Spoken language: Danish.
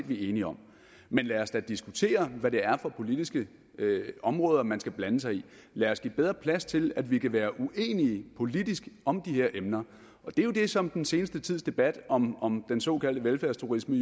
vi er enige om men lad os da diskutere hvad det er for politiske områder man skal blande sig i lad os give bedre plads til at vi kan være uenige politisk om de her emner det er jo det som den seneste tids debat om om den såkaldte velfærdsturisme